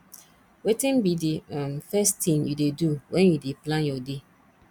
wetin be di um first thing you dey do when you dey plan your day